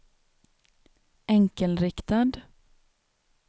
enkelriktad